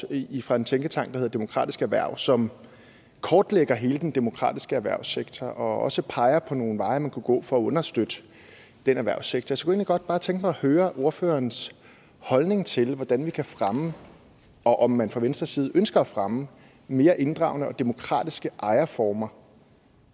fra en tænketank der hedder demokratisk erhverv som kortlægger hele den demokratiske erhvervssektor og også peger på nogle veje man kunne gå for at understøtte den erhvervssektor så jeg kunne egentlig godt tænke mig at høre ordførerens holdning til hvordan vi kan fremme og om man fra venstres side ønsker at fremme mere inddragende og demokratiske ejerformer